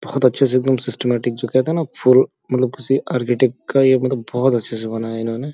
बोहोत अच्छे से एकदम सिस्टेमेटिक जो कहते हैं न फुल मतलब किसी आर्केटिक का ये मतलब बोहोत अच्छे से बनाया इन्होने।